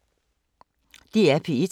DR P1